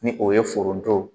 Ni o ye foronto